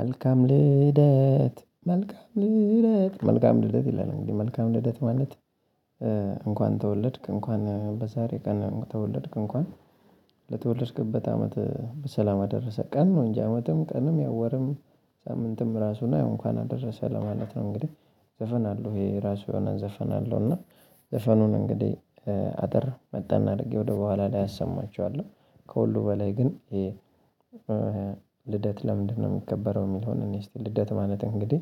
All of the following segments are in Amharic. መልካም ልደት መልካም ልደት መልካም ልደት ይላል እንግዲህ መልካም ልደት ማለት። እንኳን ተወለድክ እንኳን በዛሬ ቀን ተወለድክ እንኳን ለተወለድክበት አመት በሰላም አደረሰህ ቀን ነው። እንጂ አመትም ቀንም ያው ወርም ሳምንትም ራሱ እና ያው እንኳን አደረሰህ ለማለት ነው። እንግዲህ ዘፈን አለው ይሄ ራሱ የሆነ ዘፈን አለው እና ዘፈኑን እንግዲህ አጠር መጣን አድርጌ ወደ በኋላ ላይ አሰማችዋለሁ። ከሁሉ በላይ ግን ልደት ለምንድነው? የሚከበረው የሚለውን እንይ እስቲ ልደት ማለት እንግዲህ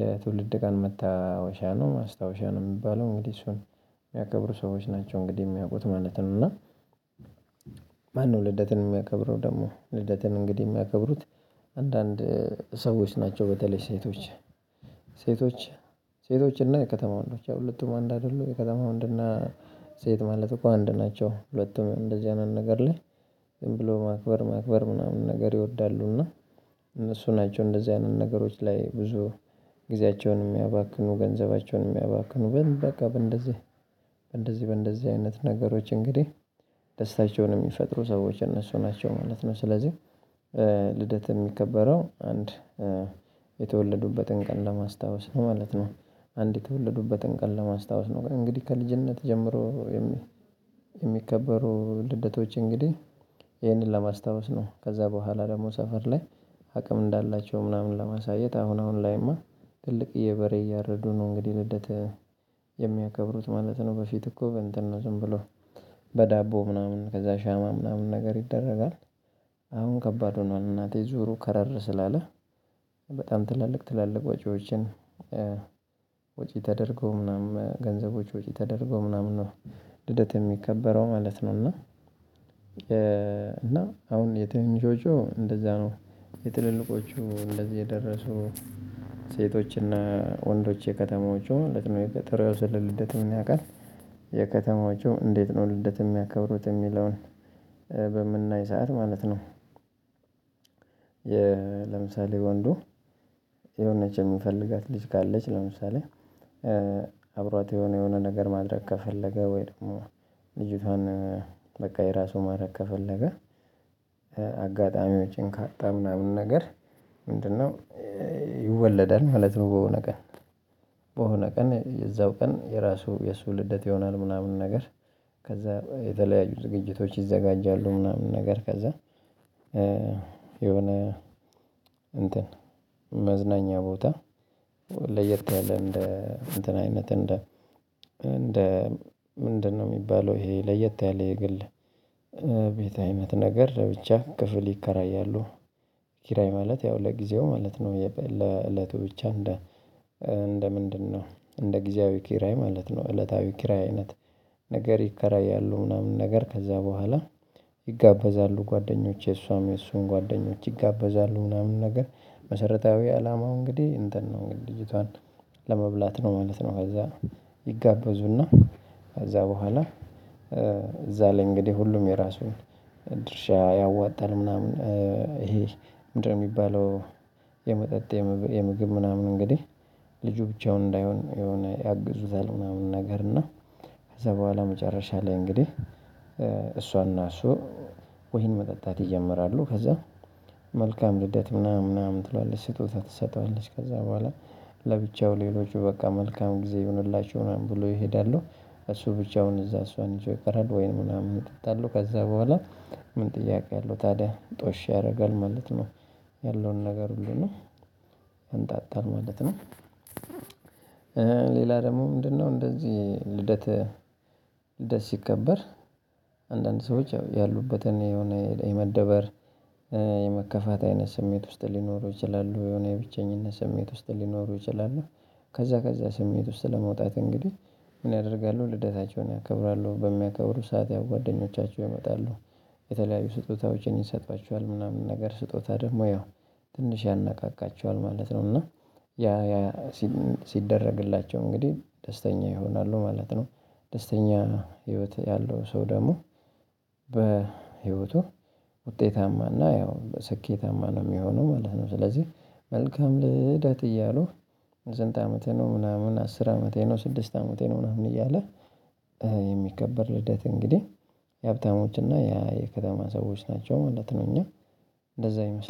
የትውልድ ቀን መታወሻ ነው ማስታወሻ ነው የሚባለው። እንግዲህ እሱን የሚያከብሩ ሰዎች ናቸው እንግዲህ የሚያውቁት ማለት ነው። እና ማነው ልደትን የሚያከብረው? ደግሞ ልደትን እንግዲህ የሚያከብሩት አንዳንድ ሰዎች ናቸው። በተለይ ሴቶች ሴቶች ሴቶች እና የከተማ ወንዶች ያው ሁለቱም አንድ አይደሉም። የከተማ ወንድ እና ሴት ማለት እኮ አንድ ናቸው ሁለቱም እንደዚህ አይነት ነገር ላይ ዝም ብሎ ማክበር ማክበር ምናምን ነገር ይወዳሉ። እና እነሱ ናቸው እንደዚህ አይነት ነገሮች ላይ ብዙ ጊዜያቸውን የሚያባክኑ ገንዘባቸውን የሚያባክኑ በቃ በእንደዚህ በእንደዚህ በእንደዚህ አይነት ነገሮች እንግዲህ ደስታቸውን የሚፈጥሩ ሰዎች እነሱ ናቸው ማለት ነው። ስለዚህ ልደት የሚከበረው አንድ የተወለዱበትን ቀን ለማስታወስ ነው ማለት ነው። አንድ የተወለዱበትን ቀን ለማስታወስ ነው። እንግዲህ ከልጅነት ጀምሮ የሚከበሩ ልደቶች እንግዲህ ይሄንን ለማስታወስ ነው ከዛ በኋላ ደግሞ ሰፈር ላይ አቅም እንዳላቸው ምናምን ለማሳየት አሁን አሁን ላይማ ትልቅዬ በሬ እያረዱ ነው። እንግዲህ ልደት የሚያከብሩ ማለት ነው። በፊት እኮ እንትን ነው ዝም ብሎ በዳቦ ምናምን ከዛ ሻማ ምናምን ነገር ይደረጋል። አሁን ከባድ ሆኗል። እናቴ ዙሩ ከረር ስላለ በጣም ትላልቅ ትላልቅ ወጪዎችን ወጪ ተደርጎ ምናምን ገንዘቦች ወጪ ተደርገው ምናምን ነው። ልደት የሚከበረው ማለት ነው። እና እና አሁን የትንንሾዎቹ እንደዛ ነው የትልልቆቹ እንደዚህ የደረሱ ሴቶች እና ወንዶች የከተማዎቹ ጥሩ ያው ልደትም ያውቃል የከተማዎቹ እንዴት ነው ልደት የሚያከብሩት የሚለውን። በምናይ ሰዓት ማለት ነው። ለምሳሌ ወንዱ የሆነች የሚፈልጋት ልጅ ካለች ለምሳሌ አብሯት የሆነ የሆነ ነገር ማድረግ ከፈለገ ወይ ደግሞ ልጅቷን በቃ የራሱ ማድረግ ከፈለገ አጋጣሚዎችን ካጣ ምናምን ነገር። ምንድነው? ይወለዳል ማለት ነው። በሆነ ቀን በሆነ ቀን የዛው ቀን የራሱ የሱ ልደት ይሆናል ምናምን ነገር። ከዛ የተለያዩ ዝግጅቶች ይዘጋጃሉ ምናምን ነገር ከዛ። የሆነ እንትን መዝናኛ ቦታ ለየት ያለ እንደ እንትን አይነት እንደ እንደ ምንድነው የሚባለው? ይሄ ለየት ያለ የግል ቤት አይነት ነገር ብቻ ክፍል ይከራያሉ። ኪራይ ማለት ያው ለጊዜው ማለት ነው። ለእለቱ ብቻ እንደ እንደ ምንድነው? እንደ ጊዜያዊ ኪራይ ማለት ነው። እለታዊ ኪራይ አይነት ነገር ይከራያሉ ምናምን ነገር ከዛ በኋላ ይጋበዛሉ ጓደኞች የእሷም የእሱም ጓደኞች ይጋበዛሉ ምናምን ነገር። መሰረታዊ አላማው እንግዲህ እንትን ነው እንግዲህ ልጅቷን ለመብላት ነው ማለት ነው። ከዛ ይጋበዙ እና ከዛ በኋላ እዛ ላይ እንግዲህ ሁሉም የራሱን ድርሻ ያዋጣል ምናምን ይሄ ምንድነው የሚባለው? የመጠጥ የምግብ ምናምን እንግዲህ ልጁ ብቻውን እንዳይሆን የሆነ ያግዙታል ምናምን ነገር እና። ከዛ በኋላ መጨረሻ ላይ እንግዲህ እሷ እና እሱ ወይን መጠጣት ይጀምራሉ። ከዛ መልካም ልደት ምናምን ምናምን ትለዋለች ስጦታ ትሰጠዋለች ከዛ በኋላ ለብቻው ሌሎቹ በቃ መልካም ጊዜ ይሁንላችሁ ምናምን ብሎ ይሄዳሉ። እሱ ብቻውን እዛ እሷን ይዞ ይቀራል። ወይንም ምናምን ይጠጣሉ ከዛ በኋላ ምን ጥያቄ አለው ታዲያ ጦሽ ያደርጋል ማለት ነው። ያለውን ነገር ሁሉ ነው ያንጣጣል ማለት ነው። ሌላ ደግሞ ምንድነው? እንደዚህ ልደት ልደት ሲከበር አንዳንድ ሰዎች ያሉበትን የሆነ የመደበር የመከፋት አይነት ስሜት ውስጥ ሊኖሩ ይችላሉ የሆነ የብቸኝነት ስሜት ውስጥ ሊኖሩ ይችላሉ። ከዛ ከዛ ስሜት ውስጥ ለመውጣት እንግዲህ ምን ያደርጋሉ ልደታቸውን ያከብራሉ በሚያከብሩ ሰዓት ያው ጓደኞቻቸው ይመጣሉ። የተለያዩ ስጦታዎችን ይሰጧቸዋል ምናምን ነገር ስጦታ ደግሞ ያው ትንሽ ያነቃቃቸዋል ማለት ነው። እና ሲደረግላቸው እንግዲህ ደስተኛ ይሆናሉ ማለት ነው። ደስተኛ ህይወት ያለው ሰው ደግሞ በህይወቱ ውጤታማና ያው በስኬታማ ነው የሚሆነው ማለት ነው። ስለዚህ መልካም ልደት እያሉ ስንት አመትህ ነው? ምናምን አስር አመቴ ነው ስድስት አመቴ ነው ምናምን እያለ የሚከበር ልደት እንግዲህ የሀብታሞች እና የከተማ ሰዎች ናቸው ማለት ነው። እና እንደዛ ይመስላል